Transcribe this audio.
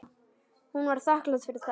Hún var þakklát fyrir það.